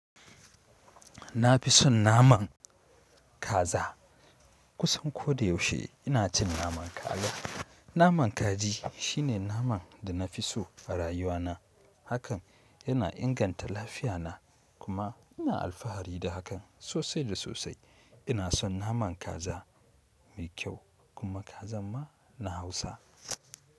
Na fi son naman kaza kusan ko da yaushe ina cin naman kaza. Naman kaji shine naman da na fi so a rayuwana. Hakan yana inganta lafiyana kuma ina alfahari da hakan sosai da sosai. Ina san naman kaza mai kyau kuma kazan ma na Hausa.